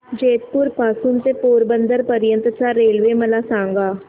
जेतपुर पासून ते पोरबंदर पर्यंत च्या रेल्वे मला सांगा